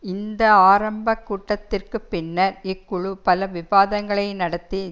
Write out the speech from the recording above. இந்த ஆரம்ப கூட்டத்திற்கு பின்னர் இக்குழு பல விவாதங்களை நடத்தி